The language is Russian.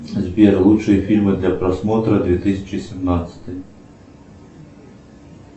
сбер лучшие фильмы для просмотра две тысячи семнадцатый